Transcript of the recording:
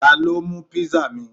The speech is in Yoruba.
Ta ló mú pizza mi?